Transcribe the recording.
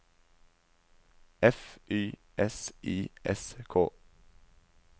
F Y S I S K